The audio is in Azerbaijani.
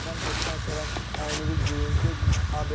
Təzədən duşdan sonra əynivi geyin, get Abedə.